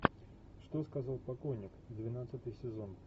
что сказал покойник двенадцатый сезон